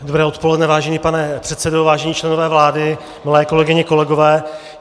Dobré odpoledne, vážený pane předsedo, vážení členové vlády, milé kolegyně, kolegové.